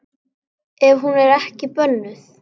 Ef hún er ekki bönnuð.